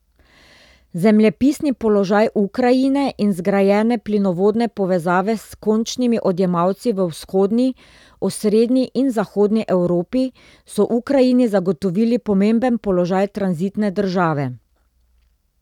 Zemljepisni položaj Ukrajine in zgrajene plinovodne povezave s končnimi odjemalci v vzhodni, osrednji in zahodni Evropi so Ukrajini zagotovili pomemben položaj tranzitne države.